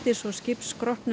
svo